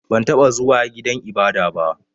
Ban taɓa zuwa gidan ibada ba.